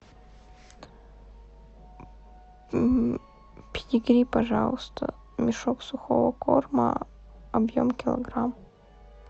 педигри пожалуйста мешок сухого корма объем килограмм